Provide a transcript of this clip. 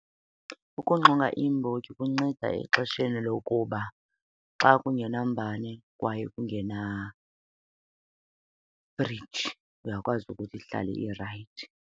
Ukunxonga iimbotyi kunceda exesheni lokuba xa kungenambane kwaye kungenafriji uyakwazi ukuthi ihlale irayithi